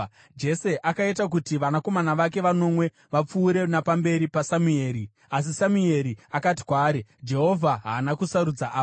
Jese akaita kuti vanakomana vake vanomwe vapfuure napamberi paSamueri, asi Samueri akati kwaari, “Jehovha haana kusarudza ava.”